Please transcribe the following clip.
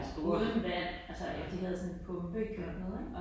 Det store ja. Ja